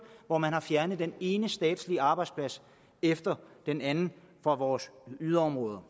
hvor man har fjernet den ene statslige arbejdsplads efter den anden fra vores yderområder